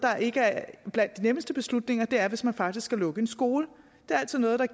ikke er blandt de nemmeste beslutninger og det er hvis man faktisk skal lukke en skole det er altid noget der